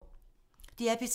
DR P3